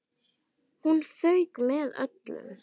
Hún fauk með öllu.